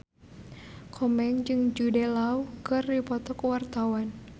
Komeng jeung Jude Law keur dipoto ku wartawan